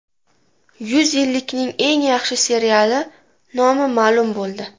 Yuz yillikning eng yaxshi seriali nomi ma’lum bo‘ldi.